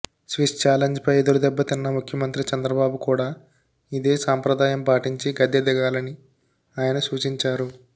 Swiss చాలెంజ్పై ఎదురుదెబ్బ తిన్న ముఖ్యమంత్రి చంద్రబాబు కూడా ఇదే సంప్రదాయం పాటించి గద్దె దిగాలని ఆయన సూచించారు